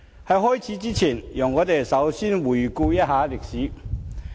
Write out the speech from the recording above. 在開始前，讓我們先回顧歷史。